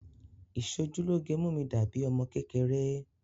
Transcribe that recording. Ìṣojúlóge mú mi dà bíi ọmọ kékeré